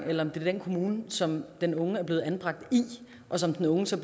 eller om det er den kommune som den unge er blevet anbragt i og som den unge så